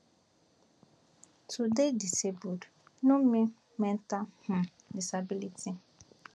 to dey disabled no mean mental um disability